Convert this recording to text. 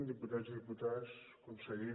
diputats i diputades conseller